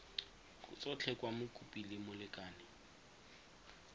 tsotlhe kwa mokopi le molekane